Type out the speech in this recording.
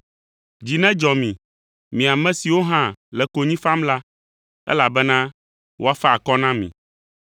Dzi nedzɔ mi, mi ame siwo hã le konyi fam la, elabena woafa akɔ na mi!